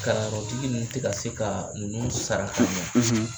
Kalanyɔrɔtigi ninnu ti ka se ka ninnu sara ka ɲa.